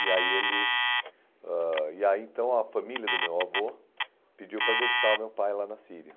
E aí ele ãh e aí então a família do meu avô pediu para deixar o meu pai lá na Síria.